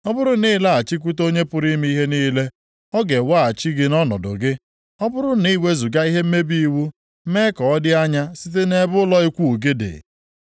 Ọ bụrụ na ịlaghachikwute Onye pụrụ ime ihe niile, ọ ga-eweghachi gị nʼọnọdụ gị; ọ bụrụ na iwezuga ihe mmebi iwu mee ka ọ dị anya site nʼebe ụlọ ikwu gị dị,